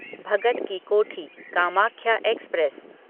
Bhagat ki Kothi Kamakhya express